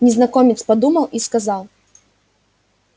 незнакомец подумал и сказал